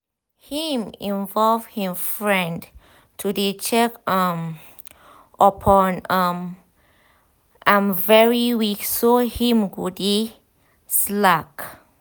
him involve him friend to dey check um up on um am every week so him no go dey slack um